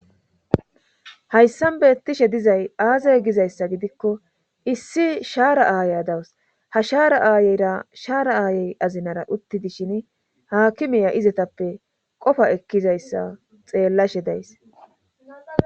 hayssan beettishe dizay aazay gizayssa gidikko issi shaara aaya dawus ha shaara aayeyra shaara aayey azinara uttidishin haakimiya izetappe qofa ekkizayssa xeellashe days